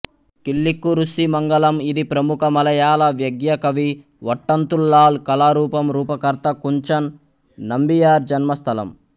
కిల్లిక్కురుస్సిమంగళం ఇది ప్రముఖ మలయాళ వ్యగ్య కవి ఓట్టంతుల్లాల్ కళారూపం రూపకర్త కుంచన్ నంబియార్ జన్మస్థలం